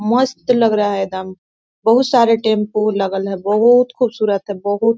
मस्त लग रहा है एकदम बहुत सारे टेम्पू लगल है बहुत खुबसूरत है बहुत--